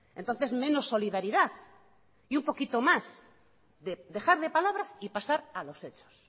entonces menos solidaridad y un poquito más de dejar de palabras y pasar a los hechos